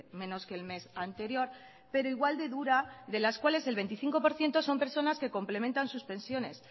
menos que el mes anterior pero igual de dura de las cuales el veinticinco por ciento son personas que complementan sus pensiones